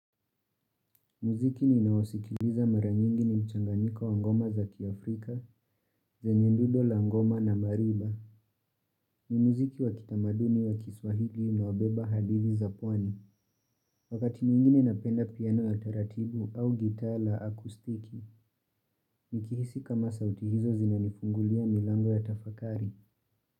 Muziki ninaosikiliza mara nyingi ni mchanganika wa ngoma za kiafrika, zenye dundo la ngoma na mariba, ni muziki wa kitamaduni wa kiswahili unaobeba hadithi za pwani, wakati mwingine napenda piano ya taratibu au gitaa la akostiki, nikihisi kama sauti hizo zinanipunguzia milango ya tafakari.